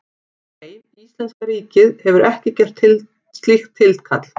Nei, íslenska ríkið hefur ekki gert slíkt tilkall.